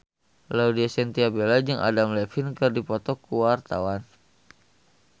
Laudya Chintya Bella jeung Adam Levine keur dipoto ku wartawan